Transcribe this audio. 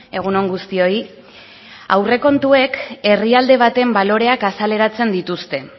egun on guztioi aurrekontuek herrialde baten baloreak azaleratzen dituzte